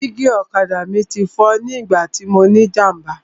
Dígí ọ̀kadà mi ti fọ́ nígbà tí mọ ní ìjàmbá.